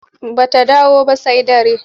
Ba ta dawo ba sai dare.